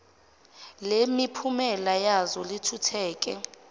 lemiphumela yazo lithuthuke